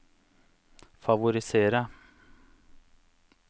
favorisere